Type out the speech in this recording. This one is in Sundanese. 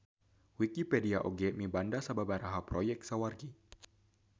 Wikipedia oge mibanda sababaraha proyek sawargi.